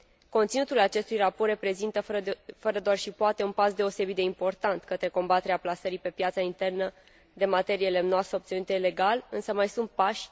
Conținutul acestui raport reprezintă fără doar și poate un pas deosebit de important către combaterea plasării pe piața internă de materie lemnoasă obținută ilegal, însă mai sunt pași...